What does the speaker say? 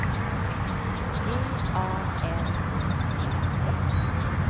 G A L O P P